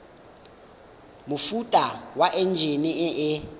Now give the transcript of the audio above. mofuta wa enjine e e